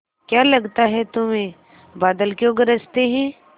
क्या लगता है तुम्हें बादल क्यों गरजते हैं